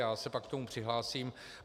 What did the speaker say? Já se pak k tomu přihlásím.